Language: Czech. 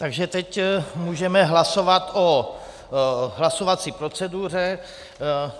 Takže teď můžeme hlasovat o hlasovací proceduře.